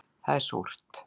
Það er súrt